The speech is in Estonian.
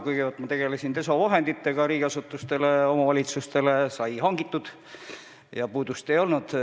Kõigepealt ma tegelesin desovahendite hankimisega riigiasutustele, omavalitsustele sai neid hangitud ja puudust ei olnud.